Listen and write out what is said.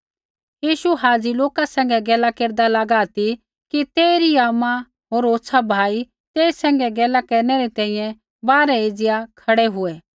यीशु हाज़ी लोका सैंघै गैला केरदा लगा ती कि तेइरै आमा होर होछ़ा भाई तेई सैंघै गैला केरनै री तैंईंयैं बाहरै एज़िया खड़ै हुऐ